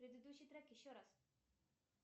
предыдущий трек еще раз